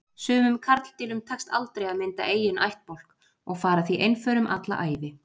Sumum karldýrum tekst aldrei að mynda eiginn ættbálk og fara því einförum alla ævi.